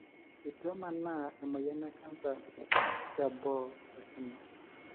Etu emaana emoyian ecanser teboo olkina.